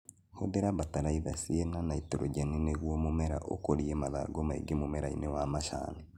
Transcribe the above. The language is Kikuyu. Hũthira bataraitha ciĩna naitrogeni nĩguo mũmera ũkũrie mathangũ maingĩ mũmerainĩ wa macani